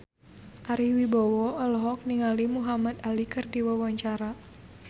Ari Wibowo olohok ningali Muhamad Ali keur diwawancara